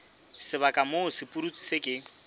sebaka moo sepudutsi se ke